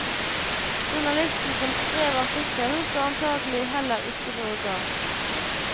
Journalisten som skrev artikkelen, så antagelig heller ikke noe galt.